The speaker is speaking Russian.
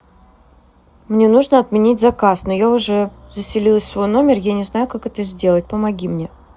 мне нужно отменить заказ но я уже заселилась в свой номер я не знаю как это сделать помоги мне